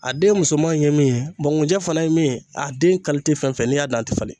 A den musoman ye min ye ŋunjɛ fana ye min ye a den fɛn fɛn n'i y'a dan a te falen.